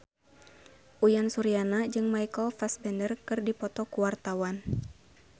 Uyan Suryana jeung Michael Fassbender keur dipoto ku wartawan